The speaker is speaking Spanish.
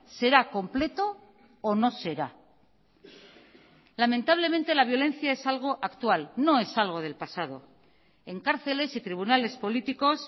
será completo o no será lamentablemente la violencia es algo actual no es algo del pasado en cárceles y tribunales políticos